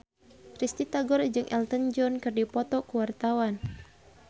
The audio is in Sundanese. Risty Tagor jeung Elton John keur dipoto ku wartawan